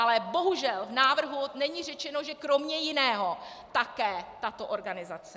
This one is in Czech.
Ale bohužel, v návrhu není řečeno, že kromě jiného také tato organizace.